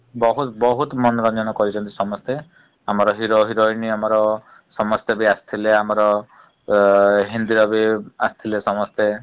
ବହୁତ୍ ବହୁତ୍ ମାନେ ମାନେ ଜଣ କହିଛନ୍ତି ସମସ୍ତେ ଆମର hero heroine ଆମର ସମସ୍ତେ ବି ଆସିଥିଲେ । ଆମର ଅ ହିନ୍ଦୀର ବି ଆସିଥିଲେ ସମସ୍ତେ ।